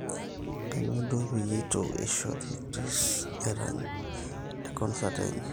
kainyoo duo peyie eitu eishori chris erany te concert enye